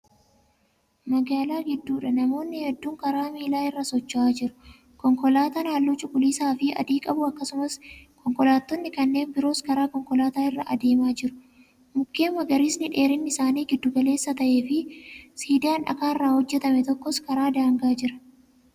Magaalaa gidduudha. namoonni hedduun karaa miilaa irra socho'a jiru. konkolaataan halluu cuquliisaafi adii qabu akkasumas konkolaattonni kanneen biroos karaa konkolaataa irra adiimaa jiru. mukkeen magariisni dheerinni isaanii gidduu galeessaa ta'e Fi siidaan dhakaarraa hojjatame tokkos karaa daangaa Jira.